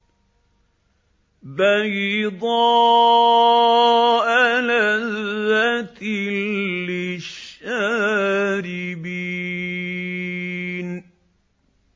بَيْضَاءَ لَذَّةٍ لِّلشَّارِبِينَ